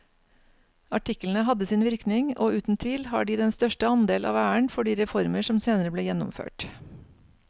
Artiklene hadde sin virkning og uten tvil har de den største andel av æren for de reformer som senere ble gjennomført.